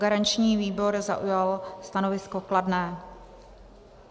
Garanční výbor zaujal stanovisko kladné.